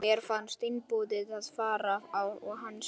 Mér fannst einboðið að fara á hans fund.